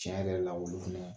Tiɲɛ yɛrɛ la olu